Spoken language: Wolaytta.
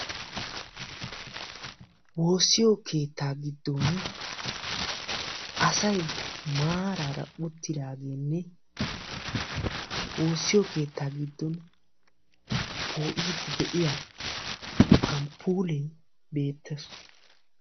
Woossiyo keetta giddon asay maarara uttidaagenne woosiyo keetta giddon po'ide de'iyaa amppuule beettees.